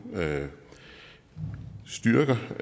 styrker